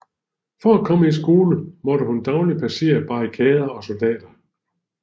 For at komme i skole måtte hun dagligt passere barrikader og soldater